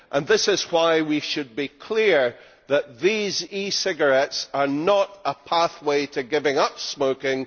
This is why we should be clear that these e cigarettes are not a pathway to giving up smoking.